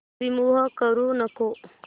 remove करू नको